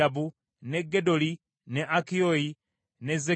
ne Gedoli, ne Akiyo, ne Zekeeri